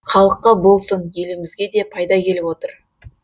халыққа болсын елімізге де пайда келіп отыр